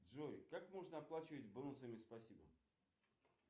джой как можно оплачивать бонусами спасибо